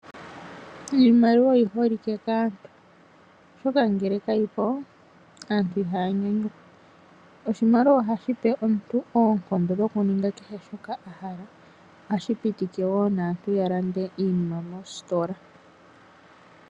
Iimaliwa oyi holike kaantu, oshoka ngele kayi po aantu ihaya nyanyukwa. Oshimaliwa oha shipe aantu oonkondo dhokuninga kehe shoka ya hala. Ohashi pitika wo aantu ya lande iinima meesitola.